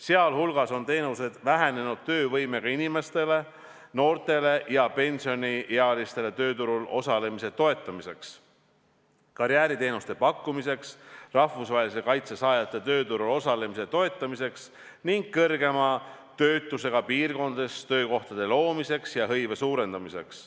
Sealhulgas on teenused vähenenud töövõimega inimeste, noorte ja pensioniealiste tööturul osalemise toetamiseks, karjääriteenuste pakkumiseks, rahvusvahelise kaitse saajate tööturul osalemise toetamiseks ning kõrgema töötusega piirkondades töökohtade loomiseks ja hõive suurendamiseks.